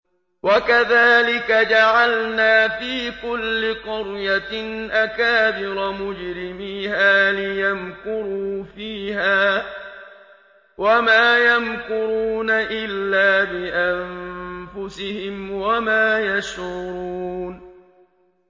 وَكَذَٰلِكَ جَعَلْنَا فِي كُلِّ قَرْيَةٍ أَكَابِرَ مُجْرِمِيهَا لِيَمْكُرُوا فِيهَا ۖ وَمَا يَمْكُرُونَ إِلَّا بِأَنفُسِهِمْ وَمَا يَشْعُرُونَ